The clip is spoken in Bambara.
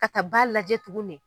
K'a ka ba lajɛ tugun ne.